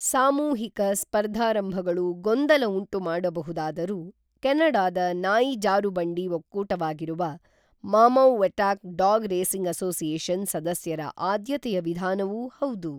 ಸಾಮೂಹಿಕ ಸ್ಪರ್ಧಾರಂಭಗಳು ಗೊಂದಲ ಉಂಟು ಮಾಡಬಹುದಾದರೂ ಕೆನಡಾದ ನಾಯಿ ಜಾರುಬಂಡಿ ಒಕ್ಕೂಟವಾಗಿರುವ ಮಾಮೌವೆಟಾಕ್ ಡಾಗ್ ರೇಸಿಂಗ್ ಅಸೋಸಿಯೇಶನ್ ಸದಸ್ಯರ ಆದ್ಯತೆಯ ವಿಧಾನವೂ ಹೌದು